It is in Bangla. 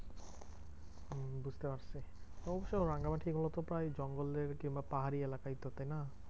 হম বুঝতে পারছি। অবশ্য রাঙামাটিগুলো তো প্রায় জঙ্গলের কিংবা পাহাড়ি এলাকাই তো না?